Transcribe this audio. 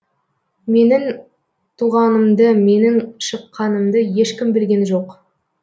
менің туғанымды менің шыққанымды ешкім білген жоқ